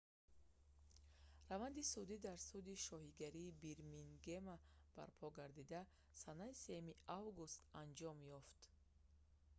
раванди судӣ дар суди шоҳигарии бирмингема барпо гардида санаи 3 август анҷом ёфт